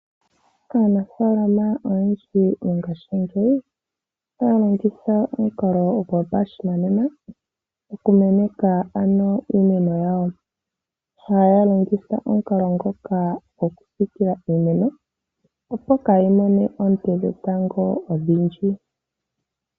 Aanafaalama oyendji mongashingeyi otaya longitha omukalo gopashinanena, oku meneka iimeno yawo. Ohaya longitha omukalo ngoka gokusiikila iimeno, opo kaayi mone oonte dhetango odhindji.